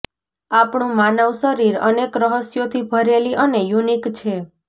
આપણું માનવ શરીર અનેક રહસ્યોથી ભરેલી અને યુનિક છે